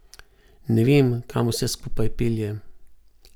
Ne vem, kam vse skupaj pelje.